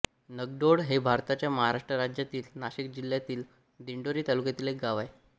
निगडोळ हे भारताच्या महाराष्ट्र राज्यातील नाशिक जिल्ह्यातील दिंडोरी तालुक्यातील एक गाव आहे